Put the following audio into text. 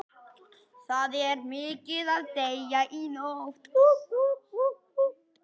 Unnið við mótauppslátt og að binda járn í loft.